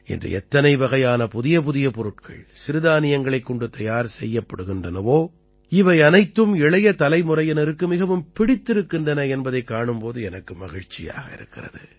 இன்று எத்தனை வகையான புதியபுதிய பொருட்ள்கள் சிறுதானியங்களைக் கொண்டு தயார் செய்யப்படுகின்றனவோ அவையனைத்தும் இளைய தலைமுறையினருக்கு மிகவும் பிடித்திருக்கின்றன என்பதைக் காணும் போது எனக்கு மகிழ்ச்சியாக இருக்கிறது